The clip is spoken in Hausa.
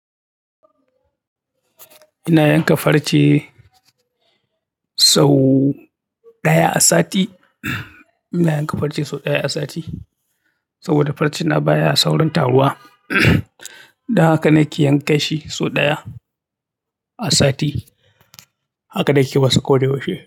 Ina yanka farce sau daya sati ina yanka farce sau ɗaya a sati saboda farce na baya saurin taruwa. Don haka na ke yanka shi sau ɗaya a sati. Haka na ke masu koyaushe.